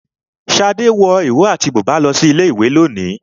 Shade wọ ìró àti bùbá lọ sí ilé ìwé lónìí.